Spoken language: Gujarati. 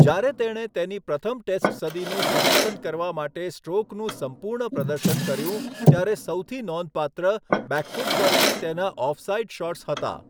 જ્યારે તેણે તેની પ્રથમ ટેસ્ટ સદીનું સંકલન કરવા માટે સ્ટ્રોકનું સંપૂર્ણ પ્રદર્શન કર્યું, ત્યારે સૌથી નોંધપાત્ર બેકફૂટ પરથી તેના ઓફ સાઇડ શોટ્સ હતા.